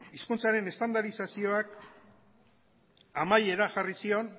hizkuntzaren estandarizazioak amaiera jarri zion